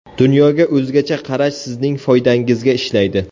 Dunyoga o‘zgacha qarash sizning foydangizga ishlaydi.